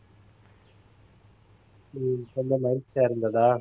உம் ரொம்ப மகிழ்ச்சியா இருந்ததா